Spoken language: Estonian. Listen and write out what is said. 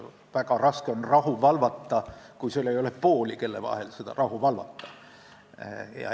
Väga raske on rahu valvata, kui sul ei ole pooli, kelle vahel rahu valvata.